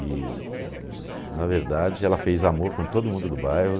E, e, na verdade, ela fez amor com todo mundo do bairro.